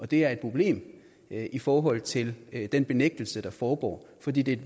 det er et problem i forhold til den benægtelse der foregår fordi det er